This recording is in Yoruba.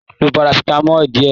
Lo parasitamọ diẹ!